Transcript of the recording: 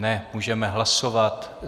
Ne, můžeme hlasovat.